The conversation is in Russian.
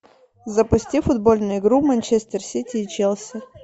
запусти футбольную игру манчестер сити и челси